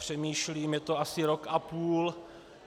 Přemýšlím... je to asi rok a půl.